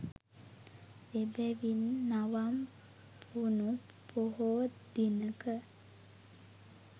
එබැවින් නවම් පුණු පොහෝ දිනක